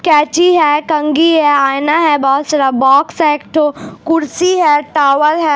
कैची है कंघी है आइना है बहुत सारे बॉक्स हैं एक टो कुर्सी है टोवल है।